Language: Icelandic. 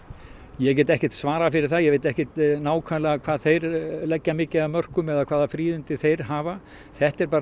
ég get ekki svarað fyrir það ég veit ekki hvað þeir leggja mikið af mörkum eða hvaða fríðindi þeir hafa þetta er